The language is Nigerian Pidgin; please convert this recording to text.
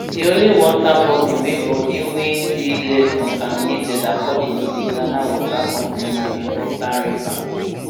di only water body wey body wey dey less contaminated according to di ghana water company na di volta river